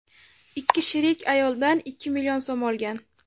Ikki sherik ayoldan ikki million so‘m olgan.